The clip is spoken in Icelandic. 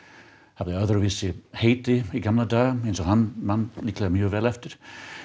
hafði öðruvísi heiti í gamla daga eins og hann man líklega mjög vel eftir